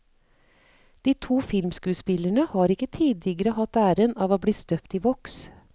De to filmskuespillerne har ikke tidligere hatt æren av å bli støpt i voks.